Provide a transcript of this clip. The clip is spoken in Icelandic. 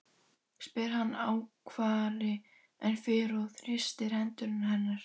spyr hann ákafari en fyrr og þrýstir hendur hennar.